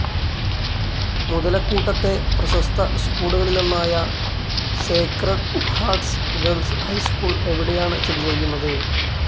മുതലക്കൂട്ടത്തെ പ്രശസ്ത സ്ക്കൂളുകളിലൊന്നായ Sacred Hearts Girls High School എവിടെയാണ് സ്ഥിതിചെയ്യുന്നത്.